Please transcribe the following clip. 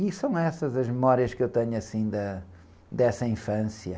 E são essas as memórias que eu tenho, assim, da, dessa infância.